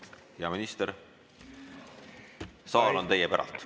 Hea minister, saal on teie päralt.